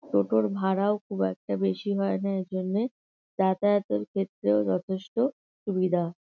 টোটোর ভাড়াও খুব একটা বেশি হয় না এই জন্যে যাতায়াতের ক্ষেত্রেও যথেষ্ট সুবিধা।